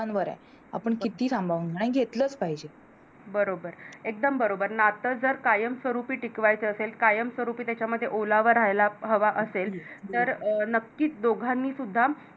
बरोबर एकदम बरोबर नात जर कायम स्वरूपी टिकवायचा असेल कायमस्वरूपी त्याच्यामध्ये ओलावा रायला हवा असेल तर नक्कीच दोघांनी सुद्धा